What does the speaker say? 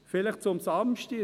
Vielleicht zum Samstag: